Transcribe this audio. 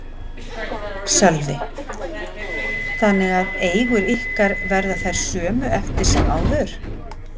Sölvi: Þannig að eigur ykkar verða þær sömu eftir sem áður?